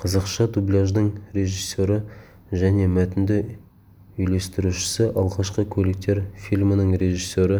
қазақша дубляждың режиссері және мәтінді үйлестірушісі алғашқы көліктер фильмінің режиссері